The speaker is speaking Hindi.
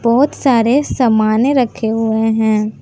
बहोत सारे समाने रखे हुए हैं।